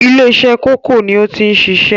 ilé-isẹ́ kòkó ni ó ti ń sisẹ́?